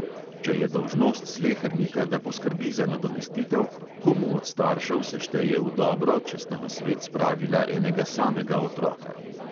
Če je dolžnost slehernika, da poskrbi za nadomestitev, komu od staršev se šteje v dobro, če sta na svet spravila enega samega otroka?